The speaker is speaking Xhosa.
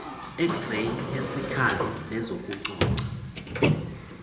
xray eziskali nezokucoca